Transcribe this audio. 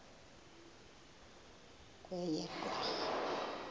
kweyedwarha